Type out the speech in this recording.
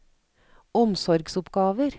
omsorgsoppgaver